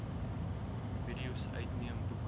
videos uitneem boeke